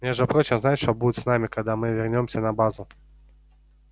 между прочим знаешь что будет с нами когда мы вернёмся на базу